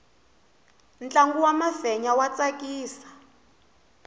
ntlangu wa mafenya wa tsakisa